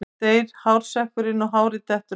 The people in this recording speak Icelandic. Þá deyr hársekkurinn og hárið dettur af.